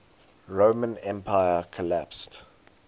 roman empire collapsed